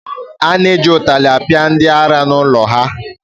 A na-eji ụtara akpị ndị ara n’ụlọ ha